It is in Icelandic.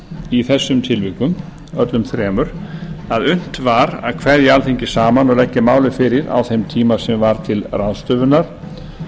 í þessum tilvikum öllum þremur að unnt var að kveðja alþingi saman og kveðja málið fyrir á þeim tíma sem var til ráðstöfunar